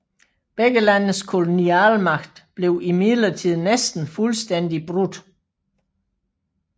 Begge landes kolonialmagt blev imidlertid næsten fuldstændig brudt